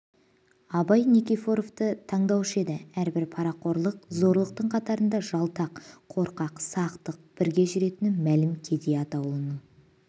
абай никифоровты танушы еді әрбір парақорлық зорлықтың қатарында жалтақ қорқақ сақтық бірге жүретіні мәлім кедей атаулының